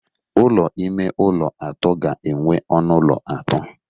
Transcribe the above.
Ụlọ ime ụlọ atọ ga-enwe ọnụ ụlọ atọ.